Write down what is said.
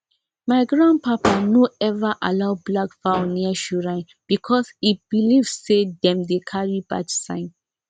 my grandpapa no ever allow black fowl near shrine because e believe say dem dey carry bad sign